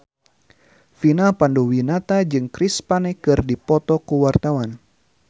Vina Panduwinata jeung Chris Pane keur dipoto ku wartawan